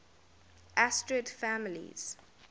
asterid families